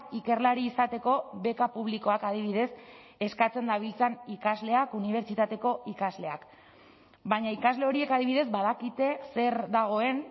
ikerlari izateko beka publikoak adibidez eskatzen dabiltzan ikasleak unibertsitateko ikasleak baina ikasle horiek adibidez badakite zer dagoen